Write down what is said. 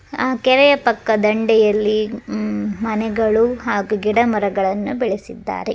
ಆ ಕೆರೆಯ ಪಕ್ಕ ದಂಡೆಯಲ್ಲಿ ಮನೆಗಳು ಹಾಗು ಗಿಡಮರಗಳನ್ನು ಬೆಳೆಸಿದ್ದಾರೆ.